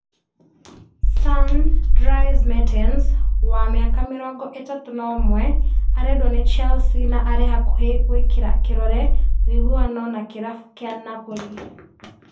Sun) Dries Mertens wa mĩaka mĩrongo ĩtatũ na ũmwe arendwo nĩ Chelsea na arĩ hakuhĩ gwĩkĩra kĩrore wũiguano na kĩrabu kĩa Napoli